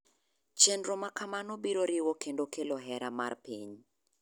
Chenro makamano biro riwo kendo kelo hera mar piny .